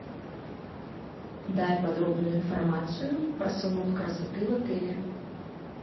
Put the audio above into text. дай подробную информацию про салон красоты в отеле